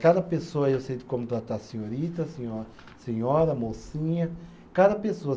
Cada pessoa, eu sei como tratar senhorita, senhora, senhora, mocinha, cada pessoa.